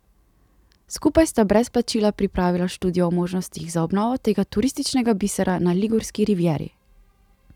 Skupaj sta brez plačila pripravila študijo o možnostih za obnovo tega turističnega bisera na Ligurski rivieri.